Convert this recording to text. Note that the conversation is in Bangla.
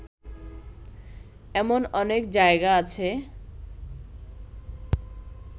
এমন অনেক জায়গা আছে